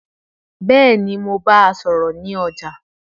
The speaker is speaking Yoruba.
Bẹ́ẹ̀ni, mo bá a sọ̀rọ̀ ní ọjà